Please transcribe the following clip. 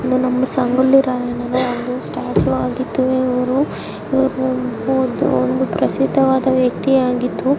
ಇದು ನಮ್ಮ ಸಂಗೊಳ್ಳಿ ರಾಯಣ್ಣ ಒಂದು ಸ್ಟ್ಯಾಚು ಆಗಿದ್ದು ಇವರು ಒಬ್ಬರು ಪ್ರಸಿದ್ಧವಾದ ವ್ಯಕ್ತಿಯಾಗಿದ್ದು--